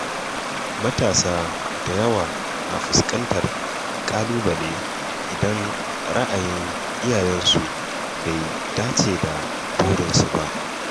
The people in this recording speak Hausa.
Matasa da yawa na fuskantar ƙalubale idan ra’ayin iyayensu bai dace da burinsu ba.